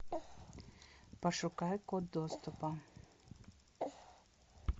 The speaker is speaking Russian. пошукай код доступа